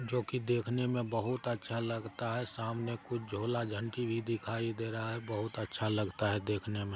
जो कि देखने में बहुत अच्छा लगता है | सामने कुछ झोला-झांटी भी दिखाई दे रहा है | बहुत अच्छा लगता है देखने में |